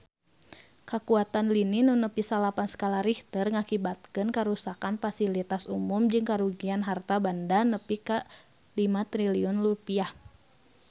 Kakuatan lini nu nepi salapan skala Richter ngakibatkeun karuksakan pasilitas umum jeung karugian harta banda nepi ka 5 triliun rupiah